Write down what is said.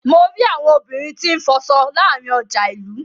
Mo ri àwọn obìnrin tí n fọ aṣọ láàárín ọjà ilú.